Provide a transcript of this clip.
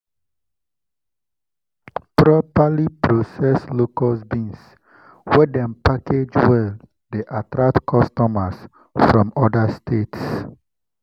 properly processed locust beans wey dem package well dey attract customers from other states.